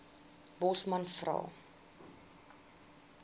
bosman vra